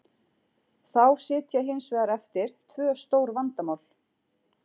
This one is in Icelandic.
Þá sitja hins vegar eftir tvö stór vandamál.